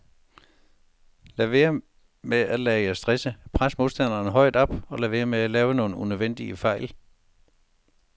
Lad være med at lade jer stresse, pres modstanderne højt oppe og lad være med at lave nogen unødvendige fejl.